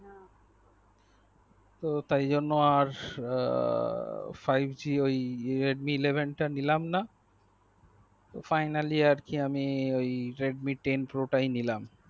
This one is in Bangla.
তো তাই জন্য আর আ five g ওই redmi eleven তা নিলাম না তো ফাইনালি আজকে আমি redmi ten pro তাই নিলাম